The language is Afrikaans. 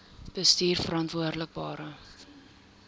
bestuurverantwoordbare